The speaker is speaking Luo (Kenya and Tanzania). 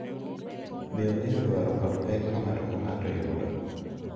Be ong’eyo dwaro kod pek ma ng’ato ka ng’ato yudo,